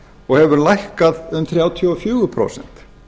og hefur lækkað um þrjátíu og fjögur prósent